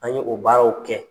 An ye o baaraw kɛ.